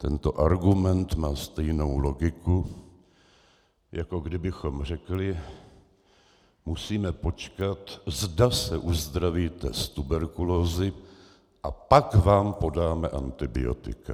Tento argument má stejnou logiku, jako kdybychom řekli: musíme počkat, zda se uzdravíte z tuberkulózy, a pak vám podáme antibiotika.